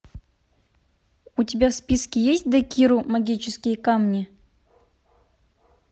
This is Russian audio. у тебя в списке есть декиру магические камни